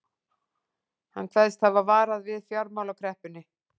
Hann kveðst hafa varað við fjármálakreppunni